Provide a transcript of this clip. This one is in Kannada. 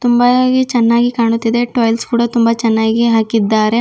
ತುಂಬಾಗಿ ಚೆನ್ನಾಗಿ ಕಾಣುತ್ತಿದೆ ಟೈಲ್ಸ್ ಕೂಡ ತುಂಬಾ ಚೆನ್ನಾಗಿ ಹಾಕಿದ್ದಾರೆ.